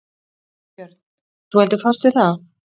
Björn: Þú heldur fast við það?